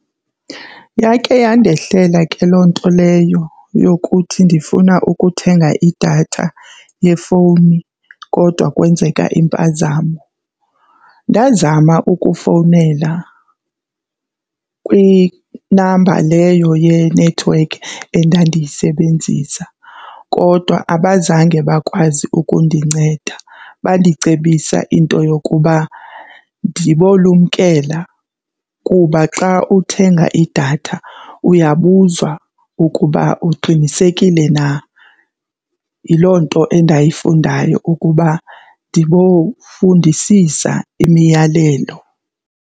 Yake yandehlela ke loo nto leyo yokuthi ndifuna ukuthenga idatha yefowuni kodwa kwenzeka impazamo. Ndazama ukufowunela kwinamba leyo yenethiwekhi endandiyisebenzisa kodwa abazange bakwazi ukundinceda. Bandicebisa into yokuba ndibolumkela kuba xa uthenga idatha uyabuzwa ukuba uqinisekile na. Yiloo nto endayifundayo ukuba ndibofundisisa imiyalelo.